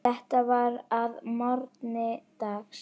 Þetta var að morgni dags.